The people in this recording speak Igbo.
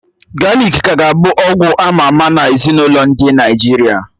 Galik ka ga abụ ọgwụ ama ama nMezinụlọ ndị Naịjirịa